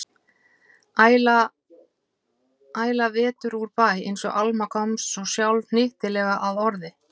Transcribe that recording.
Æla vetur úr bæ, einsog Alma komst sjálf svo hnyttilega að orði.